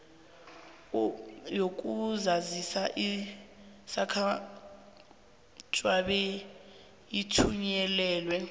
yokuzazisa izakukhutjhwa beyithunyelelwe